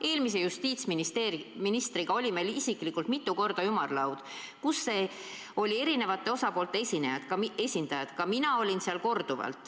Eelmise justiitsministriga meil oli mitu korda ümarlaud, kus olid kohal eri osapoolte esindajad.